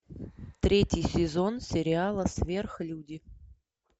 третий сезон сериала сверхлюди